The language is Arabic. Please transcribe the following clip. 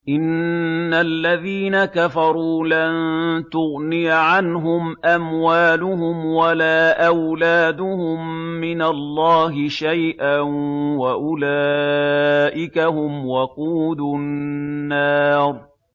إِنَّ الَّذِينَ كَفَرُوا لَن تُغْنِيَ عَنْهُمْ أَمْوَالُهُمْ وَلَا أَوْلَادُهُم مِّنَ اللَّهِ شَيْئًا ۖ وَأُولَٰئِكَ هُمْ وَقُودُ النَّارِ